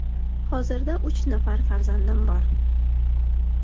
Hozirda uch nafar farzandim bor.